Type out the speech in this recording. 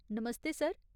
नमस्ते sir.